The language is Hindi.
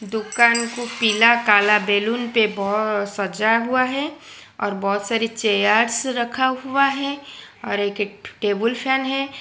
दुकान को पीला काला बैलून पे सजा हुआ है और बहुत सारी चेयर्स रखा हुआ है और एक टेबुल फैन है।